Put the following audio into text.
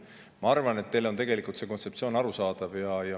Ma arvan, et teile on tegelikult see kontseptsioon arusaadav.